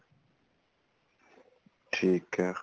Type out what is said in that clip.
ਠੀਕ ਏ